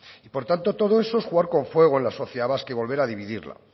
y por tanto todo eso es jugar con fuego en la sociedad vasca y volver a dividirla